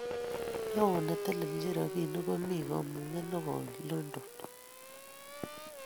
Neo netelechin robinik komi kamungset nekoi London